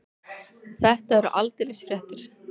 Þetta eru aldeilis fréttir.